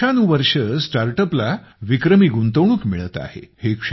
वर्षानुवर्षे StartUpला विक्रमी गुंतवणूक मिळत आहे